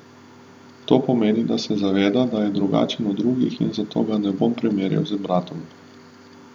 To pomeni, da se zaveda, da je drugačen od drugih in zato ga ne bomo primerjali z bratom.